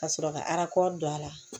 Ka sɔrɔ ka don a la